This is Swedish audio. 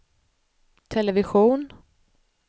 television